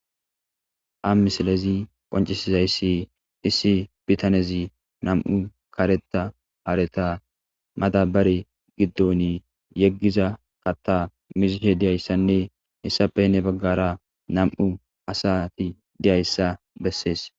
Ha misilezi qoncisizayssi issi bitanezi nam'u kareta haareta madabari giddon yeggiza katta mizishe diyayssanne hessape hne baggara nam'u asati deyayssa bessees